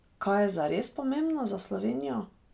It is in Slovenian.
Kaj je zares pomembno za Slovenijo?